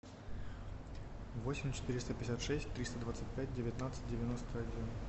восемь четыреста пятьдесят шесть триста двадцать пять девятнадцать девяносто один